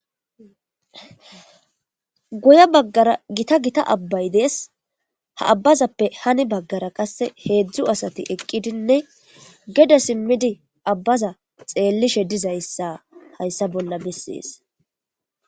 Guye baggara gita gita abbay dees ha abbazappe hani baggara qasse heedzdzu asati eqqidinne gede simmidi abbaza xeellishe dizayssa hayssa bolla bessees.